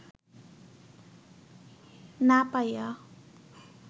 না পাইয়া